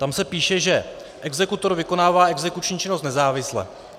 Tam se píše, že exekutor vykonává exekuční činnost nezávisle.